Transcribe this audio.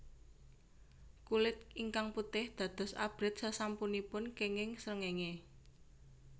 Kulit ingkang putih dados abrit sasampunipun kenging srengéngé